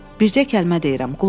Bircə kəlmə deyirəm, qulaq as.